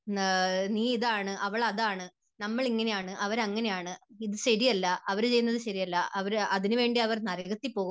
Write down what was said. നീ ഇതാണ്, അവൾ അതാണ്, നമ്മൾ ഇങ്ങനെയാണ്, അവർ അങ്ങനെയാണ്, ഇത് ശരിയല്ല, അവരു ചെയ്യുന്നത് ശരിയല്ല, അതിനുവേണ്ടി അവർ നരകത്തിൽ പോകും